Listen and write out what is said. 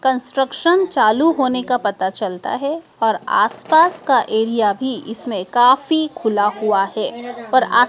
construction चालू होने का पता चलता है और आसपास का एरिया भी इसमे काफी खुला हुआ है और आस --